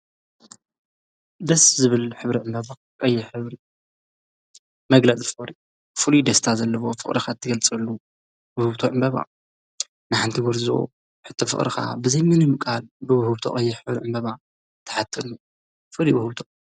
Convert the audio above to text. ደስ ዝብል ኅብሪዕ በባቕ የኅብሪ መግለጥ ፈሪ ፍሉ ደስታ ዘለቦ ፍቕረኻ እትገልጸሉ ብህብቶዕ ምበባ ንሓንቲ ጕርዝ ሕተ ፍቕርካ ብዘይምኑ ምቓል ብብህብቶቕ የ ሕብርዕ በባ ተሓተሉ ፍሪ ውህብቶ እዩ።